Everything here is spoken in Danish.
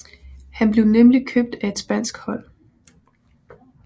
Han blev nemlig købt af et spansk hold